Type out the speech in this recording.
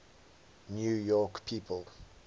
new york people